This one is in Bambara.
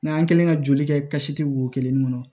N'an kɛlen ka joli kɛ kasi tɛ wo kelen ni kɔnɔ